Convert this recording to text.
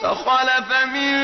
۞ فَخَلَفَ مِن